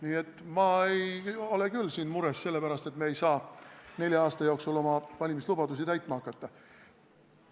Nii et ma ei ole küll siin mures selle pärast, et me ei saa nelja aasta jooksul oma valimislubadusi täitma hakata.